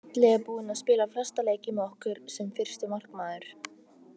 Halli er búinn að spila flesta leiki með okkur sem fyrsti markmaður.